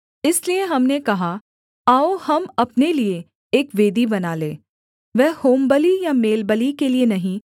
इसलिए हमने कहा आओ हम अपने लिये एक वेदी बना लें वह होमबलि या मेलबलि के लिये नहीं